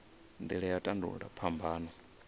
nila ya u tandululwa phambano